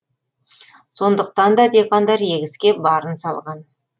сондықтан да диқандар егіске барын салған